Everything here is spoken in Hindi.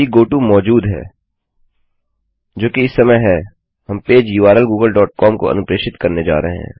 यदि गोटो मौजूद है जो कि इस समय है हम page URL Google dot com को अनुप्रेषित करने जा रहे हैं